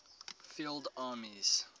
field armies